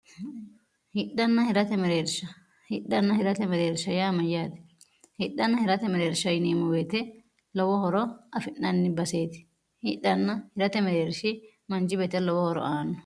hidhneershhidhanna hirate mereersha yaa mayyaati hidhanna hirate mereersha iniimo beete lowo horo afi'nanni baseeti hidhanna hirate mereershi manci beete lowo horo aanno